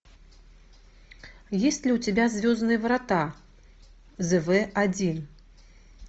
есть ли у тебя звездные врата зв один